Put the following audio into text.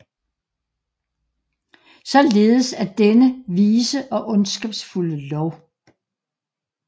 Således er denne vise og ondskabsfulde lov